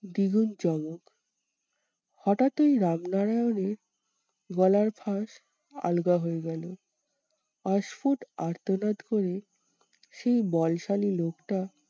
দ্বিগুন চমক হটাৎই রামনারায়ণের গলার ফাঁস আলগা হয়ে গেলো। অস্ফুট আর্তনাদ করে সেই বলশালী লোকটা